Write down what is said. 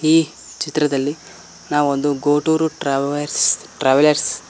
ಈ ಚಿತ್ರದಲ್ಲಿ ನಾವೊಂದು ಗೋಟೂರ್ ಟ್ರಾವೇರ್ಸ್ ಟ್ರಾವೆಲ್ಲೆರ್ಸ್ --